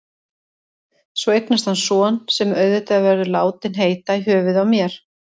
Svo eignast hann son, sem auðvitað verður látinn heita í höfuðið á mér.